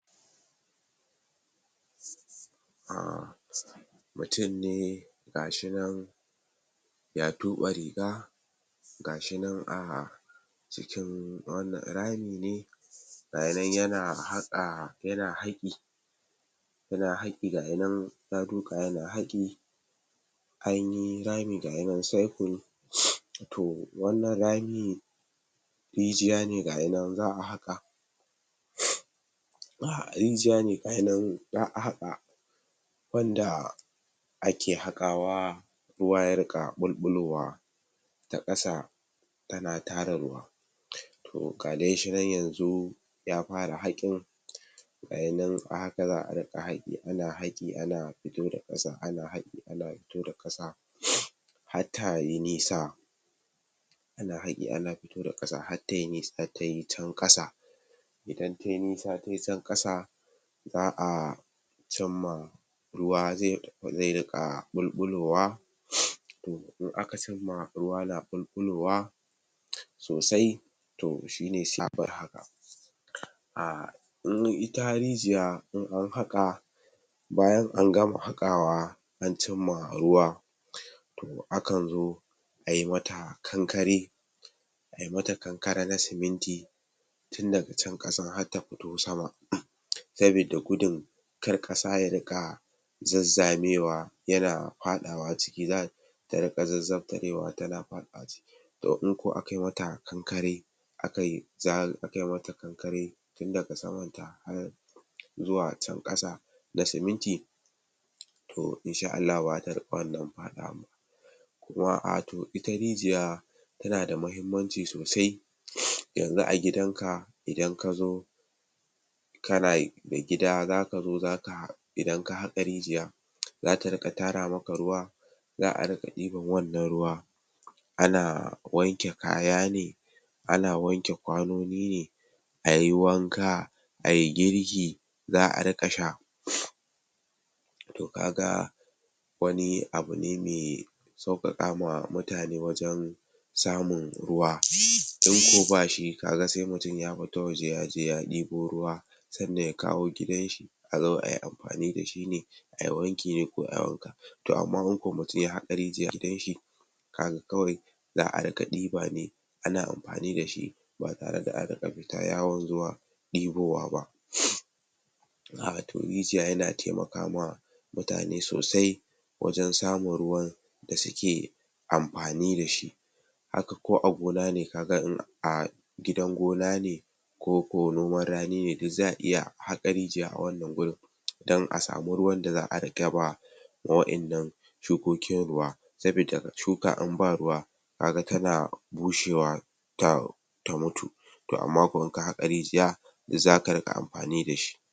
um mutum ga shi nan ya tube riga gashi nan ahh cikin wannan, rami ne yayi nan yana haƙa yana haƙi yana haƙi, gayinan ya duƙa yana haƙi anyi rami gayinan Cycle to wannan rami rijiya ne gayinan za'a haka rijiya ne agi nan za'a haka wanda ake haka wa ruwa ya ringa ɓulɓulowa ta ƙasa tana tara ruwa to ga dai shi nan yanzu ya fara hakin gayinan a haka za'a ringa haki ana haki haki ana fito da ƙasa ana haki ana fito da ƙasa hatta ana haki ana fito da ƙasa hatta yi nisa tayi can ƙasa idan tayi nisa tayi can kasa za'a cin ma ruwa zai ringa ɓulɓulowa to in aka cin ma ruwa na ɓulɓulowa sosai to shine sabura a um ita rijiya in ana haka bayan an gama haka wa an cin ma ruwa to akan zo ayi mata kankari ayi mata kan kara na siminti tunda can kasan har ta fito sama sabida gudun kar kasa ya ringa zazzamewa yana fadawa ciki ta ringa zafzaftarewa tana fadi to in kuwa aka yi mata kankare aka yi mata tun daga saman a har zuwa can kasa da siminti to insha allahu bazata ringa wannan fadawan ba kuma a to ita rijiya tana da mahimmanci sosai yanzu a gidan idan ka zo kana gida zaka zo zaka idan ka haka rijiya zata ringa tara maka ruwa za'a ringa iban wannan ruwa ana wanke kaya ne ana wanke kwanoni ne ayi wanka ayi girki za'a ringa sha to ka ga wani abu ne mai saukakama mutane wajen samun ruwa in kuwa bashi kaga sai mutum ya fita waje ya je ya ibo ruwa sannan ya kawo gidan shi a zo ayi amfani da shi ne ayi wanki ne ko ayi wanka to amma in ko mutum ya haka riijiya kaga kawai za'a ringa iba ne ana amfani da shi ba tare da an ringa fita yawon ruwa ibowa ba rijiya yana taimakawa mutane sosai wajen samun ruwan da suke amfani dashi haka ko a gona ne kaga in a gidan ona ne ko ko noman rani ne duk za'a iya haka rijiya a wannan gurin dan a samu ruwan da za'a ringa ba ma wa'yan nan shukokin ruwa sabida shuka in ba ruwa kaga tana bushewa ne ta mutu to amma ko in ka haka rijiya zaka ringa amfani dashi